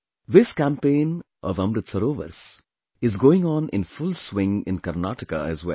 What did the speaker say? This campaign of Amrit Sarovars is going on in full swing in Karnataka as well